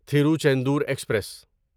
Tiruchendur express